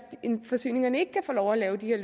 forsyningerne ikke kan få lov at lave de her